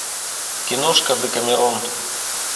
киношка декамерон